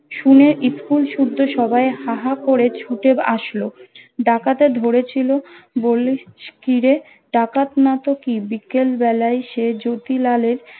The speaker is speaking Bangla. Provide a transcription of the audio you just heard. শুনে school শুদ্দু সবাই হা হা করে ছুটে আসলো ডাকতে ধরেছিল বলিস কি রে ডাকাত নাতো কি বিকেলবেলায় সে যোতিলাল এর